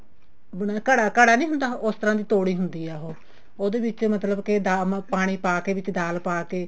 ਜਿਵੇਂ ਘੜਾ ਘੜਾ ਣ ਹੁੰਦਾ ਉਸ ਤਰ੍ਹਾਂ ਦੀ ਤੋੜੀ ਹੁੰਦੀ ਆ ਉਹ ਉਹਦੇ ਵਿੱਚ ਮਤਲਬ ਕੇ ਪਾਣੀ ਪਾ ਕੇ ਵਿੱਚ ਦਾਲ ਪਾ ਕੇ